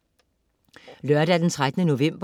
Lørdag den 13. november